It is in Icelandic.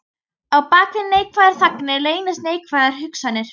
Á bak við neikvæðar þagnir leynast neikvæðar hugsanir.